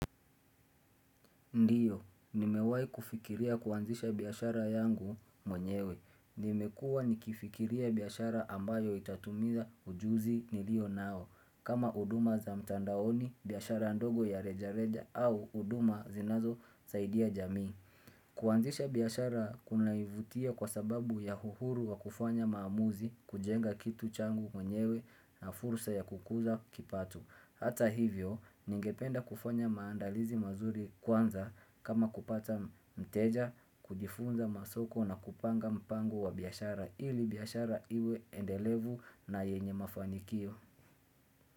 Ndiyo, nimewai kufikiria kuanzisha biashara yangu mwenyewe. Nimekua nikifikiria biashara ambayo itatumiza ujuzi nilio nao. Kama huduma za mtandaoni, biashara ndogo ya reja reja au huduma zinazosaidia jamii. Kuanzisha biashara kunanivutia kwa sababu ya uhuru wa kufanya maamuzi kujenga kitu changu mwenyewe na fursa ya kukuza kipato. Hata hivyo, ningependa kufanya maandalizi mazuri kwanza kama kupata mteja, kujifunza masoko na kupanga mpango wa biashara ili biashara iwe endelevu na yenye mafanikio.